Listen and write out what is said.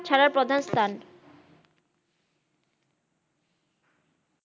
ছাড়ার প্রধান স্থান